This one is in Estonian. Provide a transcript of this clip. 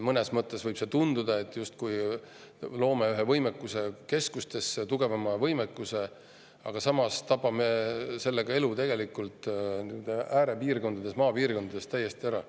Mõnes mõttes võib tunduda, et me justkui loome ühe võimekuse keskustesse, tugevama võimekuse, aga samas tapame sellega elu äärepiirkondades, maapiirkondades täiesti ära.